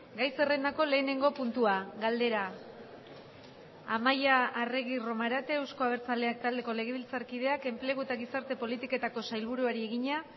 gai zerrendako lehenengo puntua galdera amaia arregi romarate euzko abertzaleak taldeko legebiltzarkideak enplegu eta gizarte politiketako sailburuari egina